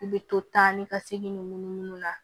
I bɛ to taa ni ka segin ninnu na